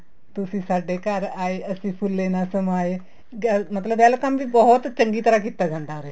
ਤੁਸੀਂ ਸਾਡੇ ਘਰ ਆਏ ਅਸੀਂ ਫੁੱਲੇ ਨਾ ਸਮਾਏ ਮਤਲਬ welcome ਵੀ ਬਹੁਤ ਚੰਗੀ ਤਰ੍ਹਾਂ ਕੀਤਾ ਜਾਂਦਾ ਉਰੇ